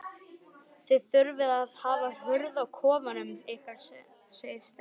Þið þurfið að hafa hurð á kofanum ykkar segir Steini.